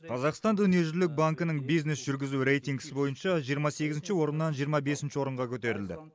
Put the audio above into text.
қазақстан дүниежүзілік банкінің бизнес жүргізу рейтінгісі бойынша жиырма сегізінші орыннан жиырма бесінші орынға көтерілді